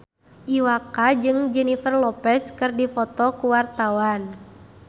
Iwa K jeung Jennifer Lopez keur dipoto ku wartawan